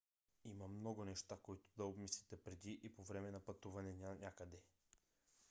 има много неща които да обмислите преди и по-време на пътуване нанякъде